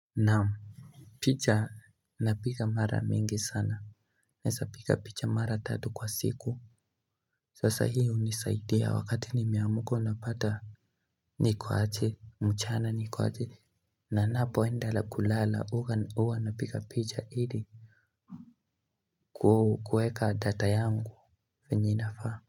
Naam picha na piga mara mingi sana Naeza piga picha mara tatu kwa siku Sasa hii unisaidia wakati nimeamuka napata Nikuache mchana nikuache Nanapo endelea kulala uwa na piga picha hili kuu kueka data yangu venye inafaa.